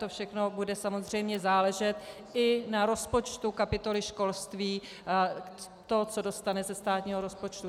To všechno bude samozřejmě záležet i na rozpočtu kapitoly školství, na tom, co dostane ze státního rozpočtu.